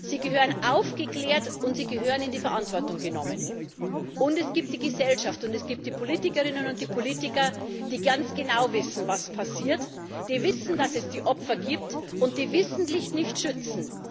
Sie gehören aufgeklärt, und sie gehören in die Verantwortung genommen. Und es gibt die Gesellschaft, es gibt die Politikerinnen und die Politiker, die ganz genau wissen, was passiert, die wissen, dass es die Opfer gibt, und sie wissentlich nicht schützen.